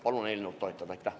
Palun eelnõu toetada!